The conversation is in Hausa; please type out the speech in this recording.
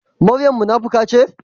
Maryam munafuka ce?